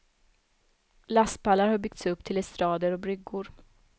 Lastpallar har byggts upp till estrader och bryggor.